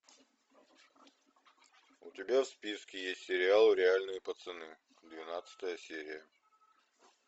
у тебя в списке есть сериал реальные пацаны двенадцатая серия